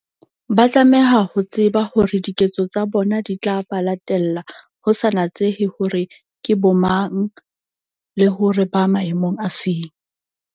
Ba tlameha ho tseba hore diketso tsa bona di tla ba latella, ho sa natsehe hore ke bomang, le hore ba maemong a feng.